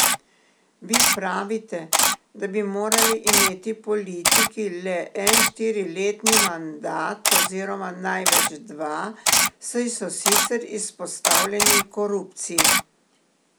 Vi pravite, da bi morali imeti politiki le en štiriletni mandat oziroma največ dva, saj so sicer izpostavljeni korupciji.